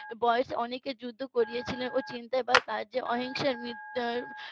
বয়সে অনেকে যুদ্ধ করেছিলেন . অহিংসার .